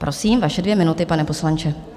Prosím, vaše dvě minuty, pane poslanče.